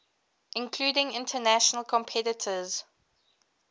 including international competitors